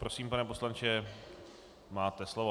Prosím, pane poslanče, máte slovo.